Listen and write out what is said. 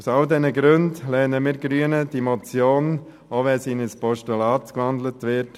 Aus all diesen Gründen lehnen wir Grüne die Motion einstimmig ab, auch wenn sie in ein Postulat gewandelt wird.